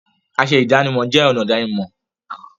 Aṣọ ìdánimọ̀ jẹ́ ọ̀nà ìdánimọ̀.